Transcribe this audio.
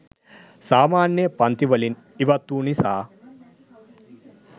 සාමාන්‍ය පන්ති වලින් ඉවත්වූ නිසා